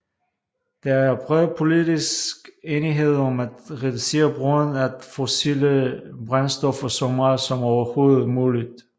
Der er bred politisk enighed om at reducere brugen af fossile brændstoffer så meget som overhovedet muligt